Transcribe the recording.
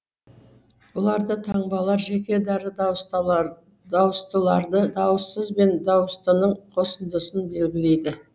бұларда таңбалар жеке дара дауыстыларды дауыссыз бен дауыстының қосындысын белгілейді